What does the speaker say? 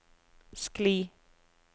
skli